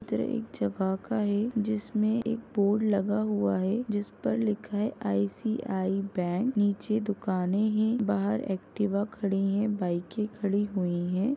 चित्र एक जगह का है जिसमें एक बोर्ड लगा हुआ है जिसपर लिखा है आईसीआई बैंक। नीचे दुकाने हैं। बाहर एक्टिवा खड़ी है बाइकें खड़ी हुई हैं।